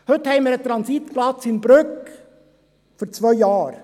Heute haben wir einen Transitplatz in Brügg für zwei Jahre.